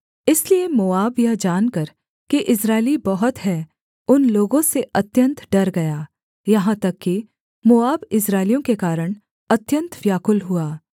इसलिए मोआब यह जानकर कि इस्राएली बहुत हैं उन लोगों से अत्यन्त डर गया यहाँ तक कि मोआब इस्राएलियों के कारण अत्यन्त व्याकुल हुआ